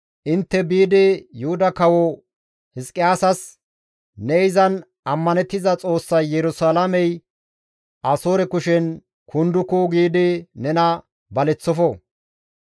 «Intte biidi Yuhuda kawo Hizqiyaasas, ‹Ne izan ammanettiza Xoossay Yerusalaamey Asoore kushen kunduku› giidi nena baleththofo.